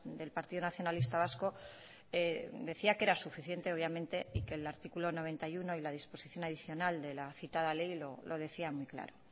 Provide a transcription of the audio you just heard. del partido nacionalista vasco decía que era suficiente obviamente y que el artículo noventa y uno y la disposición adicional de la citada ley lo decía muy claro